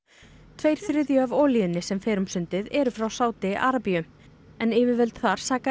tveir þriðju af olíunni sem fer um sundið eru frá Sádi Arabíu en yfirvöld þar saka